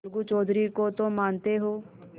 अलगू चौधरी को तो मानते हो